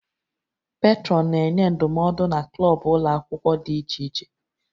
Petrọnụ na-enye ndụmọdụ na klọb ụlọ akwụkwọ dị iche iche